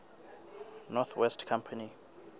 north west company